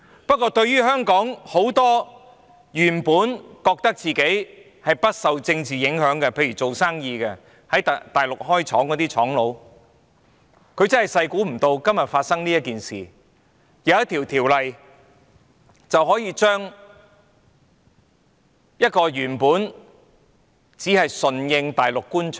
不過，對於香港很多原本認為自己不受政治影響的人，例如做生意的人、在大陸設廠的商家，他們萬萬沒想到今天會發生這件事，而他們可能會受到一項法例所影響。